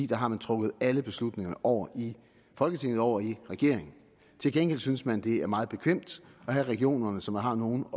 der har man trukket alle beslutningerne over i folketinget og over i regeringen til gengæld synes man det er meget bekvemt at have regionerne så man har nogen